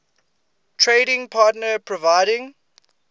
trading partner providing